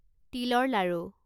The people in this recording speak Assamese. তিলৰ লাড়ু